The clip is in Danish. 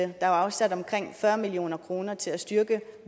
der er afsat omkring fyrre million kroner til at styrke